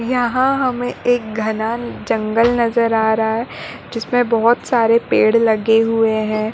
यहाँ हमे एक घना जंगल नज़र आ रहा है जिसमे बोहोत सारे पेड़ लगे हुए है।